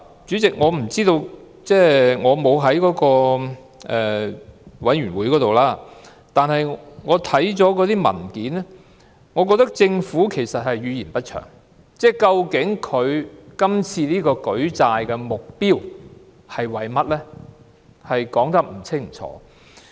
主席，我並非有關小組委員會的委員，但看過文件後，我認為政府語焉不詳，對於政府今次舉債的目標說得不清不楚。